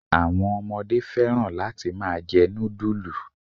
Àwọn ọmọdé fẹ́ràn láti máa jẹ núdúlù